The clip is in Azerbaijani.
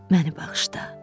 Məni bağışla.